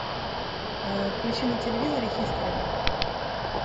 включи на телевизоре хистори